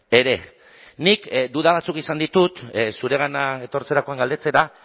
ere nik duda batzuk izan ditut zuregana etortzerakoan galdetzera